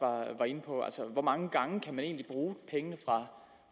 var inde på altså hvor mange gange kan man egentlig bruge pengene fra